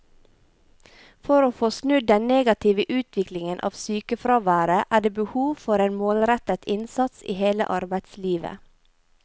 For å få snudd den negative utviklingen av sykefraværet er det behov for en målrettet innsats i hele arbeidslivet.